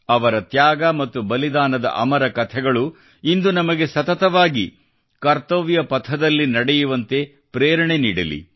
ಅವರ ತ್ಯಾಗ ಮತ್ತು ಬಲಿದಾನದ ಅಮರ ಕಥೆಗಳು ಇಂದು ನಮಗೆ ಸತತವಾಗಿ ಕರ್ತವ್ಯ ಪಥದಲ್ಲಿ ನಡೆಯುವಂತೆ ಪ್ರೇರಣೆ ನೀಡಲಿ